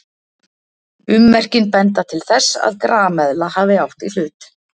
Ummerkin benda til þess að grameðla hafi átt í hlut.